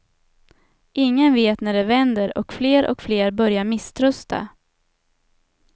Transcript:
Ingen vet när det vänder och fler och fler börjar misströsta.